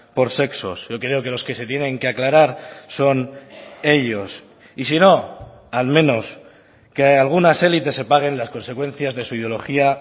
por sexos yo creo que los que se tienen que aclarar son ellos y si no al menos que algunas elites se paguen las consecuencias de su ideología